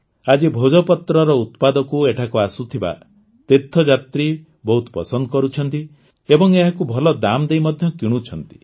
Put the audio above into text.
ଆଜି ଭୋଜପତ୍ରର ଉତ୍ପାଦକୁ ଏଠାକୁ ଆସୁଥିବା ତୀର୍ଥଯାତ୍ରୀ ବହୁତ ପସନ୍ଦ କରୁଛନ୍ତି ଏବଂ ଏହାକୁ ଭଲ ଦାମ୍ଦେଇ ମଧ୍ୟ କିଣୁଛନ୍ତି